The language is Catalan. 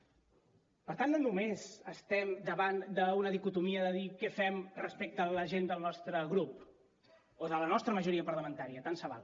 per tant no només estem davant d’una dicotomia de dir què fem respecte a la gent del nostre grup o de la nostra majoria parlamentària tant se val